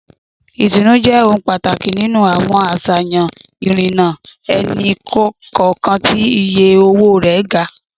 Comfort is a priority in high-cost individual transit options.